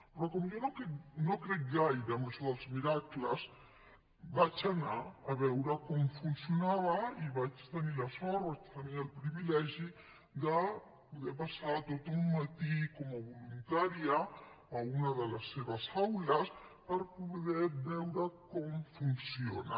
però com que jo no crec gaire en això dels miracles vaig anar a veure com funcionava i vaig tenir la sort vaig tenir el privilegi de poder passar tot un matí com a voluntària a una de les seves aules per poder veure com funciona